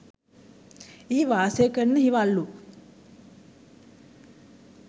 එහි වාසය කරන හිවල්ලු